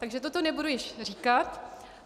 Takže toto nebudu již říkat.